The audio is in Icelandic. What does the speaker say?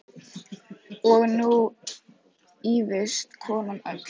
Og nú ýfist konan öll.